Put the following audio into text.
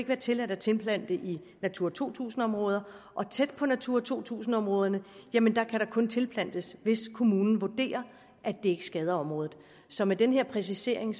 være tilladt at tilplante i natura to tusind områder og tæt på natura to tusind områderne kan der kun tilplantes hvis kommunen vurderer at det ikke skader området så med den her præcisering